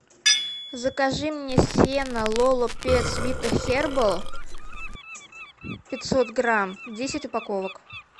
закажи мне сено лоло петс вита хербал пятьсот грамм десять упаковок